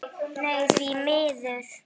Nei því miður.